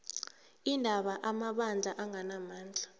iindaba amabandla anganamandla